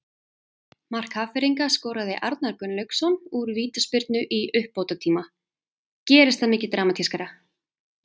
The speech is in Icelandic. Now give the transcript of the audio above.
Mark Hafnfirðinganna skoraði Arnar Gunnlaugsson úr vítaspyrnu í uppbótartíma- gerist það mikið dramatískara?